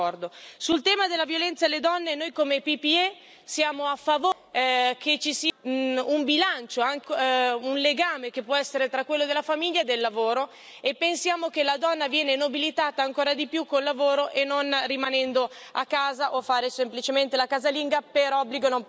Sul tema della violenza nei confronti delle donne, noi come PPE siamo a favore che ci sia un bilancio e anche un legame che può essere quello della famiglia e del lavoro e pensiamo che la donna viene nobilitata ancora di più con il lavoro e non rimanendo a casa o a fare semplicemente la casalinga per obbligo e non per scelta.